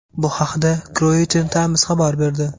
Bu haqda Croatian Times xabar berdi .